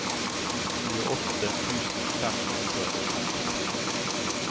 tjueåtte tusen fem hundre og femtito